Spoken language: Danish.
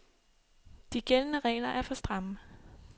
De gældende regler er for stramme.